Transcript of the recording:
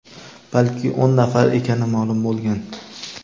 balki o‘n nafar ekani ma’lum bo‘lgan.